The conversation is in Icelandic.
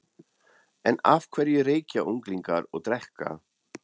En af hverju reykja unglingar og drekka?